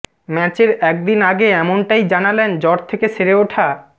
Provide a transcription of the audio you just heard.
ম্যাচের একদিন আগে এমনটাই জানালেন জ্বর থেকে সেরে ওঠা